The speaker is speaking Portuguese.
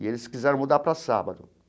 E eles quiseram mudar para sábado.